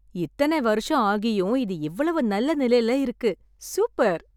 இத்தனை வருஷம் ஆகியும் இது இவ்வளவு நல்ல நிலையில இருக்கு. சூப்பர்.